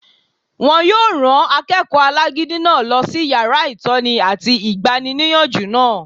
Wọ́n yóò rán akẹ́kọ̀ọ́ alágídí náà lọ sí yàrá ìtọ́ni àti igbaníniyànjú náà